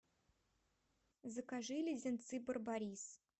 закажи леденцы барбарис